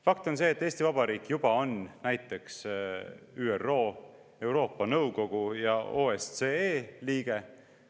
Fakt on see, et Eesti Vabariik juba on näiteks ÜRO, Euroopa Nõukogu ja OSCE liige.